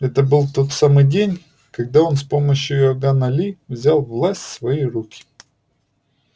это был тот самый день когда он с помощью иоганна ли взял власть в свои руки